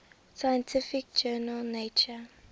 scientific journal nature